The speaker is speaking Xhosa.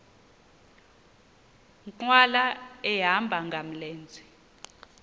nkqwala ehamba ngamlenze